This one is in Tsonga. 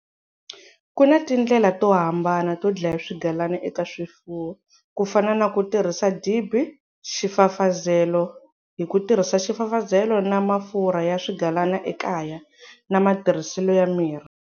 Ku na tindlela to hambana to dlaya swigalana eka swifuwo ku fana na ku tirhisa dibi, xifafazelo, hi ku tirhisa xifafazelo na mafurha ya swigalana ekaya, na matirhiselo ya mirhi.